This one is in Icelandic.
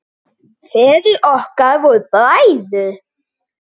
Feður okkar voru bræður.